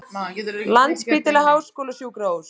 Landspítali Háskólasjúkrahús.